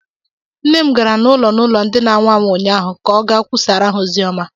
Nna m gara ụlọ n'ụlọ ndi na anwụ anwụ ụnyaahụ ka ọ gaa kwusaara ha ozi ọma